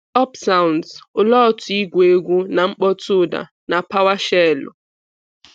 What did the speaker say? Up Sounds Olee otú igwu egwu na “mkpọ̀tụ́” ụda na PowerShell?